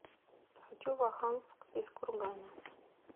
хочу в оханск из кургана